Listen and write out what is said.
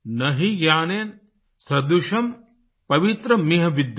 न हि ज्ञानेन सदृशं पवित्र मिह विद्यते